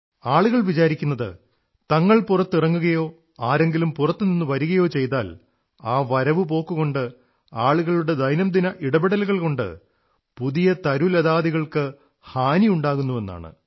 ആളുകൾ വിചാരിക്കുന്നത് തങ്ങൾ പുറത്തിറങ്ങുകയോ ആരെങ്കിലും പുറത്തുനിന്നു വരുകയോ ചെയ്താൽ ആ വരവുപോക്കുകൊണ്ട് ആളുകളുടെ ദൈനംദിന ഇടപെടലുകൾകൊണ്ട് പുതിയ തരുലതാദികൾക്ക് ഹാനിയുണ്ടാകുന്നുവെന്നാണ്